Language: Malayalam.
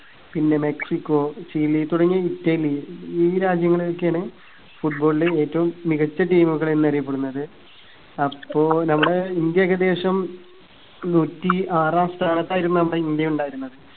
പിന്നെ മെക്സിക്കോ, ചിലി തുടങ്ങിയ ഇറ്റലി ഈ രാജ്യങ്ങളൊക്കെയാണ് football ല് ഏറ്റവും മികച്ച team കളെന്ന് അറിയപ്പെടുന്നത്. അപ്പോ നമ്മുടെ ഇന്ത്യ ഏകദേശം നൂറ്റി ആറാം സ്ഥാനത്തായിരുന്നു നമ്മുടെ ഇന്ത്യ ഉണ്ടായിരുന്നത്.